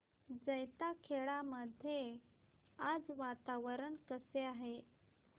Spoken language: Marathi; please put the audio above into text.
जैताखेडा मध्ये आज वातावरण कसे आहे